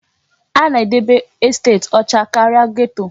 A na-edebe estet ọcha karịa geto.